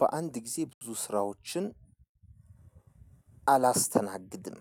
በአንድ ጊዜ ብዙ ስራዎችን አላስተናግድም።